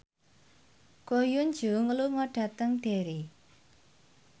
Ko Hyun Jung lunga dhateng Derry